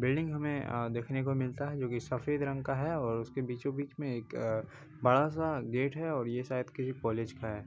Building हमें अ देखने को मिलता है जो कि सफ़ेद रंग का है और उसके बीचों-बीच में एक अ बाड़ा सा गेट है और ये शायद किसी कॉलेज का है।